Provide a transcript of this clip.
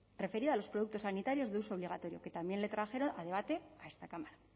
referida a los productos sanitarios de uso obligatorio que también le trajeron a debate a esta cámara